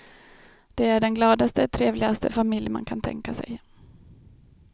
De är den gladaste, trevligaste familj man kan tänka sig.